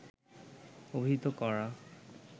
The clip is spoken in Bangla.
অভিহিত করা